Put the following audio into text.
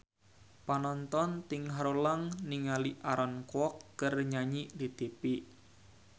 Panonton ting haruleng ningali Aaron Kwok keur nyanyi di tipi